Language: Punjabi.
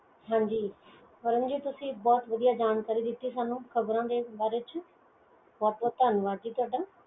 ਧੰਨਵਾਦ ਤੁਹਾਡਾ